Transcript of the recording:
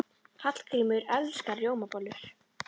Hallgrímur elskar rjómabollur.